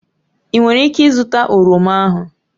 Ị nwere ike ịzụta oroma ahu?